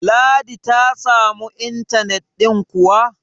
ladi ta samu intanet ɗin kuwa?